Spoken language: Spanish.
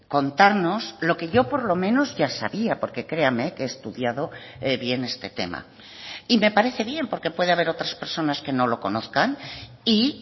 contarnos lo que yo por lo menos ya sabía porque créame que he estudiado bien este tema y me parece bien porque puede haber otras personas que no lo conozcan y